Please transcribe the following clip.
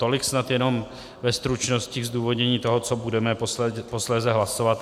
Tolik snad jenom ve stručnosti k zdůvodnění toho, co budeme posléze hlasovat.